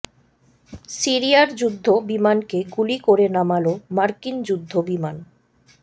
সিরিয়ার যুদ্ধ বিমানকে গুলি করে নামাল মার্কিন যুদ্ধ বিমান